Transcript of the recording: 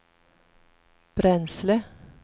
bränsle